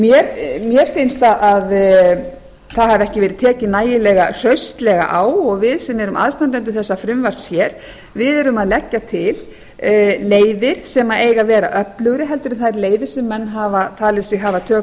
árangri mér finnst að það hafi ekki verið tekið nægilega hraustlega á og við sem erum aðstandendur þessa frumvarps hér erum að leggja til leiðir sem eiga að vera öflugri heldur en þær leiðir sem mann hafa talið sig hafa tök á